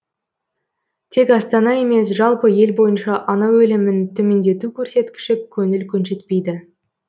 тек астана емес жалпы ел бойынша ана өлімін төмендету көрсеткіші көңіл көншітпейді